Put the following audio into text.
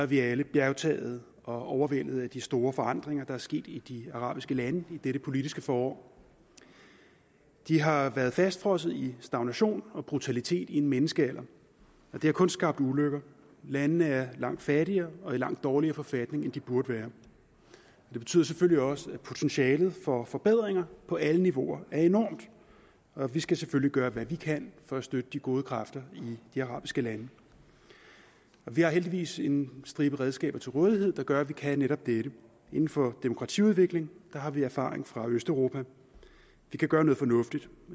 vi alle bjergtaget og overvældet af de store forandringer der er sket i de arabiske lande i dette politiske forår de har været fastfrosset i stagnation og brutalitet i en menneskealder og det har kun skabt ulykker landene er langt fattigere og i langt dårligere forfatning end de burde være det betyder selvfølgelig også at potentialet for forbedringer på alle niveauer er enormt og vi skal selvfølgelig gøre hvad vi kan for at støtte de gode kræfter i de arabiske lande vi har heldigvis en stribe redskaber til rådighed der gør at vi kan netop dette inden for demokratiudvikling har vi erfaring fra østeuropa vi kan gøre noget fornuftigt